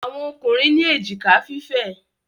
Àwọn Ọkùnrin ní èjìká fífẹ̀.